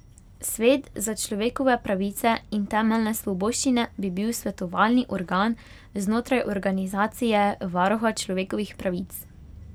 Svet za človekove pravice in temeljne svoboščine bi bil svetovalni organ znotraj organizacije varuha človekovih pravic.